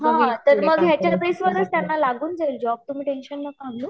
हा मग याच्या बेस वर्च त्यांना लागून जाईल जॉब तुम्ही टेंशन नाका घेऊ